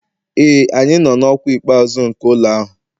Ee, anyị nọ na ọkwa ikpeazụ nke ụlọ ahụ